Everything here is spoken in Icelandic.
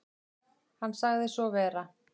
Hann sagði svo vera.